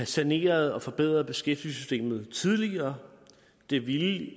saneret og forbedret beskæftigelsessystemet tidligere det ville